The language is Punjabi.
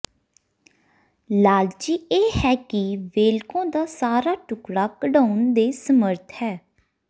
ਲਾਲਚੀ ਇਹ ਹੈ ਕਿ ਵੇਲਕੋ ਦਾ ਸਾਰਾ ਟੁਕੜਾ ਕਢਾਉਣ ਦੇ ਸਮਰੱਥ ਹੈ